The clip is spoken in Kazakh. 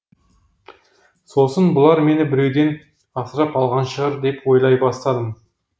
сосын бұлар мені біреуден асырап алған шығар деп ойлай бастадым